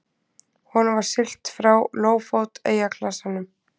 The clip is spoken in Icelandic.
Honum var siglt frá Lófót eyjaklasanum.